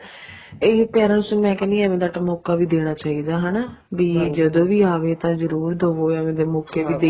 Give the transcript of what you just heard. ਇਹੀ parents ਨੂੰ ਮੈਂ ਕਹਿਣੀ ਹਾਂ ਏਵੇਂ ਦਾ ਮੋਕਾ ਤਾਂ ਦੇਣਾ ਚਾਹੀਦਾ ਹਨਾ ਵੀ ਜਦੋਂ ਆਵੇ ਤਾਂ ਜ਼ੁਰੁਰ ਆਪਾਂ ਮੋਕੇ ਤੇ